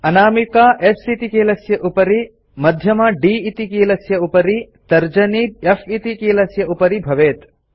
अनामिका S इति कीलस्य उपरि मध्यमा D इति कीलस्य उपरि तर्जनी F इति कीलस्य उपरि भवेत्